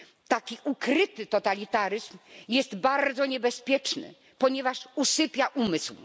Taki ukryty totalitaryzm jest bardzo niebezpieczny, ponieważ usypia umysł.